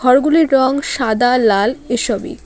ঘরগুলির রং সাদা লাল এসবই।